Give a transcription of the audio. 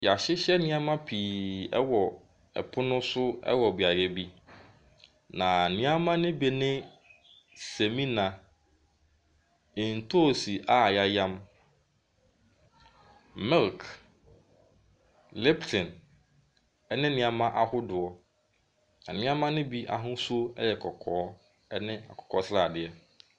Yɛahyehyɛ nneɛma pii wɔ pono so wɔ beaeɛ bi. Na nneɛma no bi ne semina, ntoosi a yɛayam, milk, liptin, ne nneɛma ahodoɔ. Nneɛma no bi ahosuo yɛ kɔkɔɔ ne akokɔsradeɛ.